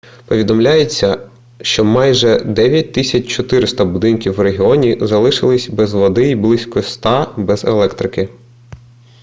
повідомляється що майже 9400 будинків в регіоні залишились без води й близько 100 - без електрики